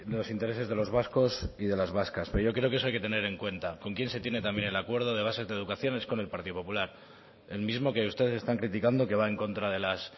los intereses de los vascos y de las vascas pero yo creo que eso hay que tener en cuenta con quién se tiene también el acuerdo de base de educación es con el partido popular el mismo que ustedes están criticando que va en contra de las